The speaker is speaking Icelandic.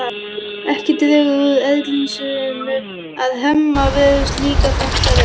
Ekki dregur úr ergelsinu að Hemma virðist líka þetta vel.